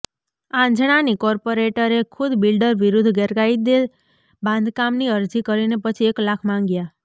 આંજણાની કોર્પોરેટરે ખુદ બિલ્ડર વિરુદ્ધ ગેરકાયદે બાંધકામની અરજી કરી ને પછી એક લાખ માગ્યા